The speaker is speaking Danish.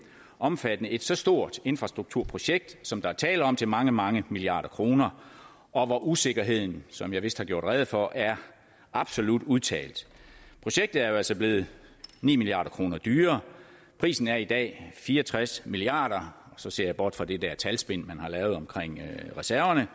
omfatter et så stort infrastrukturprojekt som der er tale om til mange mange milliarder kroner og hvor usikkerheden som jeg vist har gjort rede for er absolut udtalt projektet er altså blevet ni milliard kroner dyrere prisen er i dag fire og tres milliard kr så ser jeg bort fra det der talspin man har lavet omkring reserverne